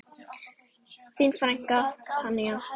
Þín frænka Tanja.